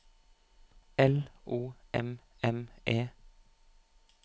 L O M M E